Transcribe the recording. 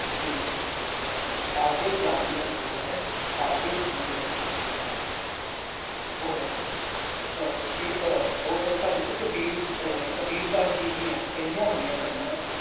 ਜਿਵੇਂ ਕਿ ਅਗੈ ਜਾਤਿ ਨ ਜੋਰੁ ਹੈ ਅਗੈ ਜੀਉ ਨਵੇ ॥ ਔਰ ਸ੍ਰੀ ਔਰ ਭਗਤ ਕਬੀਰ ਜੀ ਅਹ ਕਬੀਰ ਦਾਸ ਜੀ ਦੀਆਂ ਕਹੀਆਂ ਹੋਈਆਂ ਗੱਲਾਂ